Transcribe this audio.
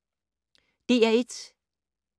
DR1